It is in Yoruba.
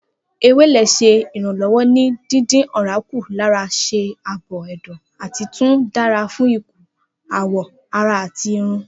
Ewele ṣe iranlọwọ ni dídín ọ̀rá kù lára ṣe aabo ẹdọ, ati tun dara fun ikun, awọ ara ati irun.